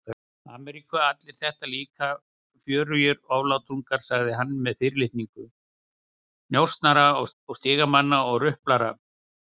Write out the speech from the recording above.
Ameríku, allir þetta líka fjörugir oflátungar, sagði hann með fyrirlitningu, njósnarar og stigamenn og ruplarar.